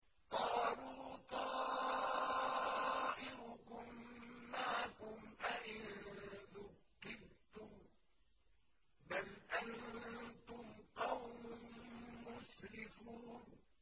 قَالُوا طَائِرُكُم مَّعَكُمْ ۚ أَئِن ذُكِّرْتُم ۚ بَلْ أَنتُمْ قَوْمٌ مُّسْرِفُونَ